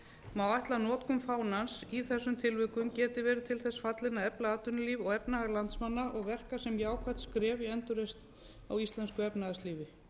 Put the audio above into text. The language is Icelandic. má ætla að notkun fánans í þessum tilvikum geti verið til þess fallin að efla atvinnulíf og efnahag landsmanna og verka sem jákvætt skref í endurreisn á íslensku efnahagslífi